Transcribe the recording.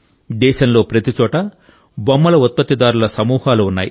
దేశంలో ప్రతిచోటా బొమ్మల ఉత్పత్తిదారుల సమూహాలు ఉన్నాయి